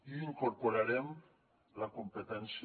i incorporarem la competència